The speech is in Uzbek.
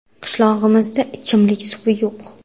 Qishlog‘imizda ichimlik suvi yo‘q.